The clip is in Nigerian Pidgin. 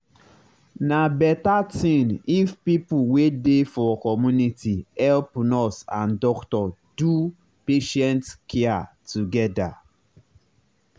na better thing if people wey dey for community help nurse and doctor do patient care together.